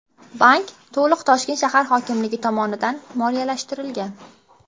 Bank to‘liq Toshkent shahar hokimligi tomonidan moliyalashtirilgan.